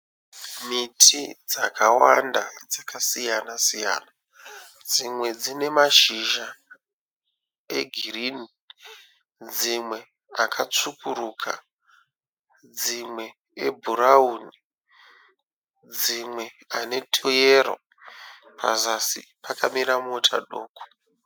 Miti dzakawanda dzakasiyana siyana. Dzimwe dzine mashizha egirinhi dzimwe akatsvukuruka dzimwe ebhurawuni dzimwe ane tuyero. Pazasi pakamira mota.